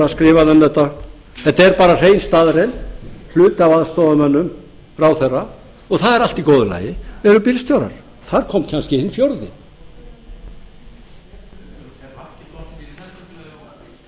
þetta þetta er bara hrein staðreynd hluti af aðstoðarmönnum ráðherra og það er allt í góðu lagi eru bílstjórar þar kom kannski hinn fjórði ég ætla